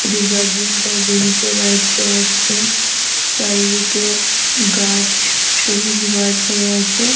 একটি গার্জিয়ান তার বেবি কে রাইট দেওয়াচ্ছে। চারিদিকে গাছ সবুজ গাছ হয়ে আছে।